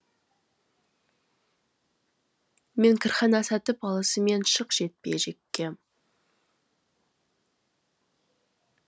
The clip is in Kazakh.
мен кірхана сатып алысымен шық жекпе жекке